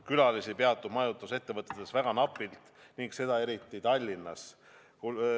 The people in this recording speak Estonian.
Külalisi peatub majutusettevõtetes väga napilt, seda eriti Tallinnas.